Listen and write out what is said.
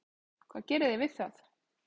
Hvað gerið þið við það?